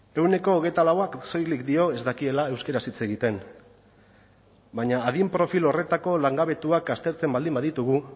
ehuneko hogeita lauak soilik dio ez dakiela euskaraz hitz egiten baina adin profil horretako langabetuak aztertzen baldin baditugu